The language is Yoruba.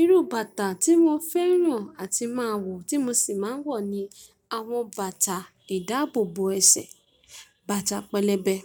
Irú bàtà tí mo fẹ́ràn àti máa wọ̀ tí mo sì máa ń wọ̀ ni àwọn bàtà ìdáàbò bo ẹsẹ̀, bàtà pẹlẹbẹ.